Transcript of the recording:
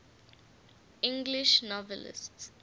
english novelists